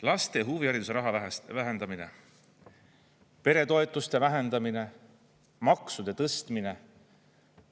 Laste huvihariduse raha vähendamine, peretoetuste vähendamine, maksude tõstmine.